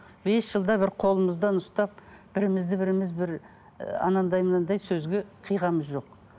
бес жылда бір қолымыздан ұстап бірімізді біріміз бір ы анандай мынандай сөзге қиғанымыз жоқ